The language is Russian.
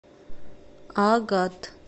агат